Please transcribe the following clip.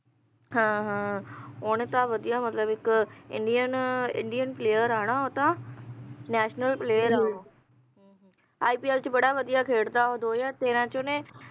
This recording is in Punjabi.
ਹਾਂ ਹਾਂ ਓਹਨੇ ਤਾਂ ਵਧੀਆ ਮਤਲਬ ਇੱਕ ਇੰਡੀਅਨ player ਹੈ ਨਾ ਓਹੋ ਤਾਂ national player ਹੈ ਓਹੋ ipl ਚ ਬੜਾ ਵਧੀਆ ਖੇਲਦਾ ਓਹੋ ਦੋ ਹਜ਼ਾਰ ਤੇਰਾਂ ਚ ਓਹਨੇ